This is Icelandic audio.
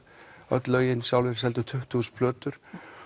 öll lögin sjálfir seldu tuttugu plötur